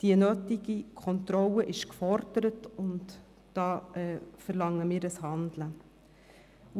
Die nötige Kontrolle ist gefordert, und wir verlangen, dass gehandelt wird.